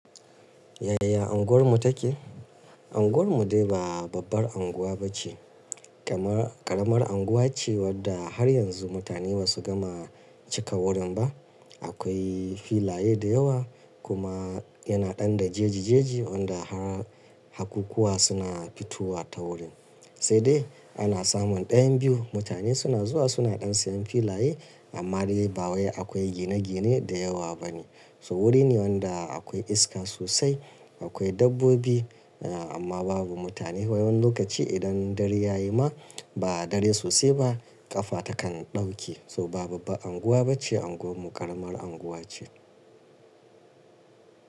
Yaya unguwarmu take? Unguwarmu dai ba babbar unguwa ba ce. Karamar-- ƙaramar unguwa ce wadda har yanzu mutane ba su gama cika wurin ba. Akwai filaye da yawa kuma yana ɗan da jeji-jeji wanda har hakkuƙuwa suna fitowa ta wurin. Sai dai ana samun ɗayan biyu mutane suna zuwa suna ɗan siyan filaye amma dai ba wai akwai gine-gine da yawa ba ne. So wuri ne wanda akwai iska sosai, akwai dabbobi amma babu mutane. Wani lokaci idan dare ya yi ma ba dare sosai ba ƙafa takan ɗauke. So ba babba unguwa ba ce unguwar mu ƙaramar unguwa ce.